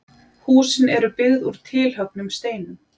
Húsin eru byggð úr tilhöggnum steinum.